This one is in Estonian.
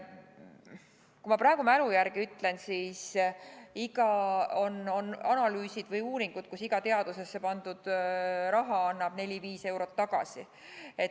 Kui ma praegu mälu järgi ütlen, siis on tehtud analüüse või uuringuid, mille järgi iga teadusesse pandud euro annab neli-viis eurot tagasi.